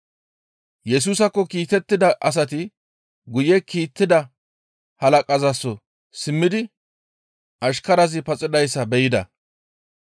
Yesusaakko kiitettida asati guye kiittida halaqazaso simmidi ashkarazi paxidayssa be7ida.